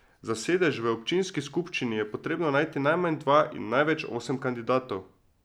Za sedež v občinski skupščini je potrebno najti najmanj dva in največ osem kandidatov.